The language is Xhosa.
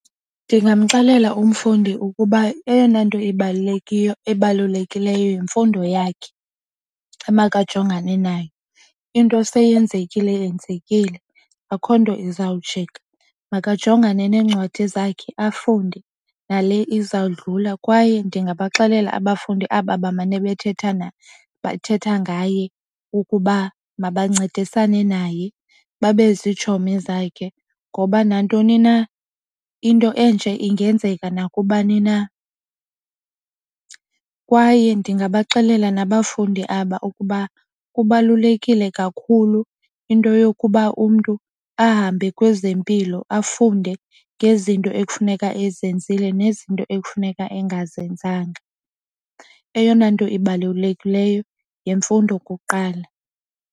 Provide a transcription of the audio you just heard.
Ndingamxelela umfundi ukuba eyona nto ebalulekileyo yimfundo yakhe emakajongane nayo. Into seyenzekile yenzekile akho nto izawujika, makajongane neencwadi zakhe afunde nale izawudlula. Kwaye ndingabaxelela abafundi aba bamane bethethana bethetha ngaye ukuba mabancedisane naye babe zitshomi zakhe ngoba nantoni na into enje ingenzeka nakubani na. Kwaye ndingabaxelela nabafundi aba ukuba kubalulekile kakhulu into yokuba umntu ahambe kwezempilo afunde ngezinto ekufuneka ezenzile nezinto ekufuneka engazenzanga. Eyona nto ibalulekileyo yemfundo kuqala.